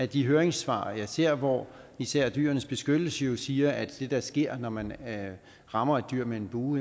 de høringssvar jeg ser hvor især dyrenes beskyttelse jo siger at det der sker når man rammer et dyr med en bue